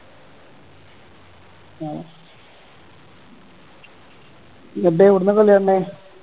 എന്നിട്ട് എവിടുന്നാ കളി കാണണേ